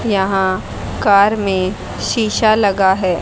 यहां कार में शीशा लगा है।